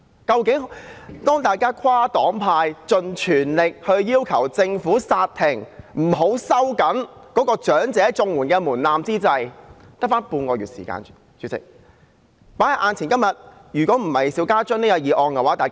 當大家跨黨派、盡全力要求政府煞停這措施，不要收緊申請長者綜合社會保障援助的門檻之際，主席，現在只餘下半個月時間。